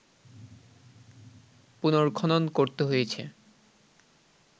পুনর্খনন করতে হয়েছে